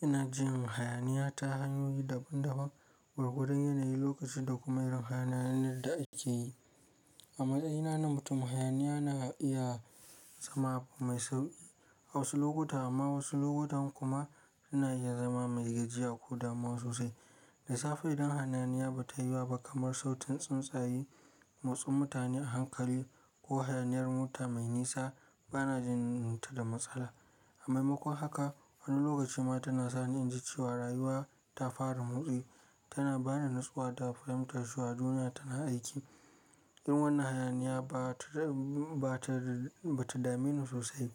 Ina jin hayaniya ta hanyoyi daban-daban, gwargwadon yanayi, lokaci da kuma irin hayanayyen da ake yi. A matsayina na mutum, hayaniya na iya zama mai sauƙi a wasu lokuta amma wasu lokutan kuma ina iya zama mai gajiya ko damuw sosai. Da safe idan hayaniya ba ta yiwuwa ba kamar sautin tsuntsaye, motsin mutane a hankali ko hayaniyar mota mai nisa, ba na jin ta da matsala. Amma makon haka, wani lokaci ma tana sa ni in ji cewa rayuwa ta fara motsi, tana ba ni nutsuwa da fahimtar cewa duniya tana aiki. Irin wannan hayaniya ba ta dame ni sosai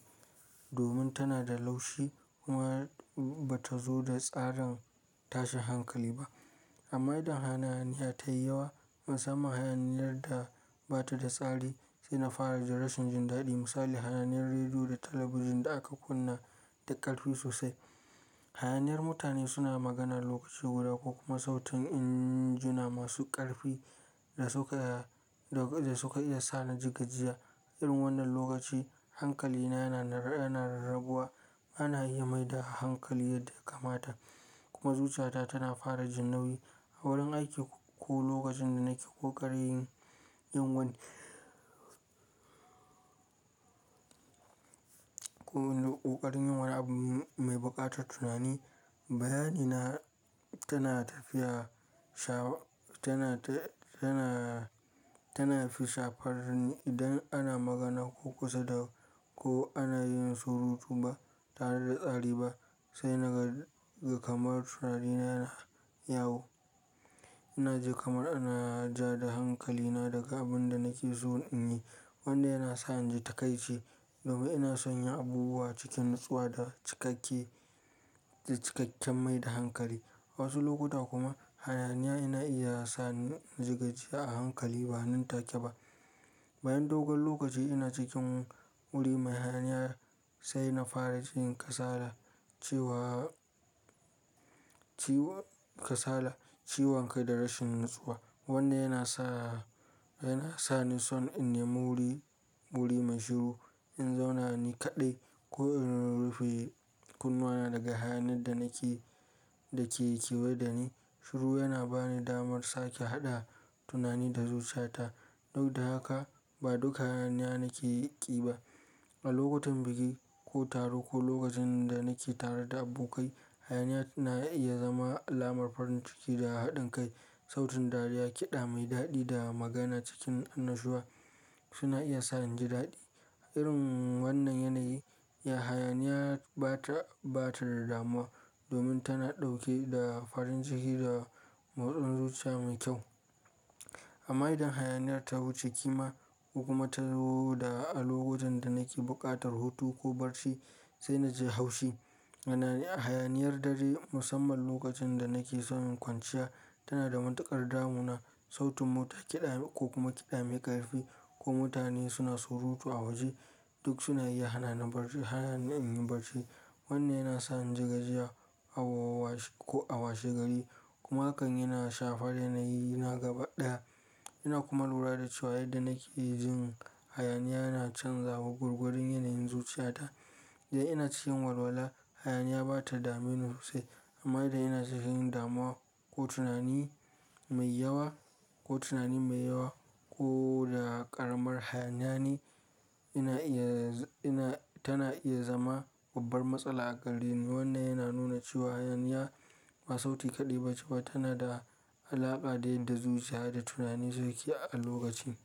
domin tana da laushi kuma ba ta zo da tsarin tashin hankali ba. Amma idan hayaniya ta yi yawa, musamman hayaniyar da ba ta da tsari sai na fara jin rashin jin daɗi. Misali, hayaniyar rediyo da talabijin da aka kunna da ƙarfi sosai, hayaniyar mutane suna magana lokaci guda ko kuma sautin injuna masu ƙarfi da suka iya sa ni jigajiya. Irin wannan lokaci, hankalina yana rarraguwa, ana yi mai da hankali yadda ya kamata kuma zuciyata tana fara jin nauyi. A wurin aiki ko lokacin da nake ƙoƙarin yin wani abu mai buƙatar tunani, bayani na tana tafiya tana fi shafar ni idan ana magana ko ƙusa da ko ana yin surutu ba tare da tsari ba sai naga kamar tunarina yana yawo. Ina ji kamar ana ja da hankalina daga abin da nake so in yi, wanda yana sa in ji taƙaice domin ina sanya abubuwa cikin nutsuwa da cikakken da cikakken mai da hankali. A wasu lokuta kuma hayaniya ina iya sa ni jigajiya a hankali ba nin take ba. Bayan dogon lokaci ina cikin wuri mai hayaniya sai na fara jin kasala, ciwon kai da rashin nutsuwa, wanda yana sa ni son in nimi wuri, wuri mai shiru in zauna ni kaɗai ko in rufe kunnawa daga hayan da ke kewaye da ni. Shiru yana ba ni damar sake haɗa tunani da zuciyata. Duk da haka ba duka hayaniya nake ƙi ba. A lokutan bikin ko taro ko lokacin da nake tare da abokai, hayaniya na iya zama alamar farin ciki da haɗin kai. Sautin dariya, kiɗa mai daɗi da magana cikin annashuwa suna iya sa inji daɗi. Irin wannan yanayi, hayaniya ba ta bata damuwa domin tana ɗauke da farin ciki da motsin zuciya mai kyau. Amma idan hayaniyar ta wuce ƙima ko kuma ta zo a lokacin da nake buƙatar hutu ko barci sai na ji haushi. Hayaniyar dare, musamman lokacin da nake son kwanciya, tana da matuƙar damuna. Sautin mota kida ko kuma kiɗa mai ƙarfi ko mutane suna surutu a waje duk suna iya hana ni in yi barci, wanda yana sa ni jigajiya koh a washegari kuma hakan yana shafar yanayi na gaba ɗaya. Ina kuma lura da cewa yadda nake jin hayaniya yana canzawa gwagwadon yanayin zuciyata. Idan ina cikin walwala, hayaniya ba ta dame ni sosai amma idan ina cikin damuwa ko tunani mai yawa ko ƙaramar hayaniya ni ina iya, tana iya zama babbar matsala a gare ni. Wannan yana nuna cewa hayaniya ba sauti kaɗai ba ce ba, tana da alaƙa da yadda zuciya da tunani suke a lokacin.